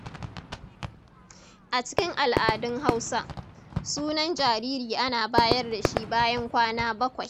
A cikin al’adun Hausa, sunan jariri ana bayar da shi bayan kwana bakwai.